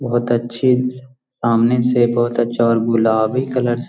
बहुत अच्छी सामने से बहुत अच्छी और गुलाबी कलर से --